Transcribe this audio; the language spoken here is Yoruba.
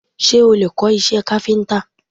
Ṣé o lè kọ́ iṣẹ́ káfíńtà?